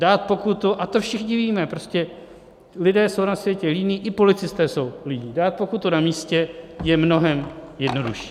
Dát pokutu, a to všichni víme, prostě lidé jsou na světě líní, i policisté jsou líní, dát pokutu na místě je mnohem jednodušší.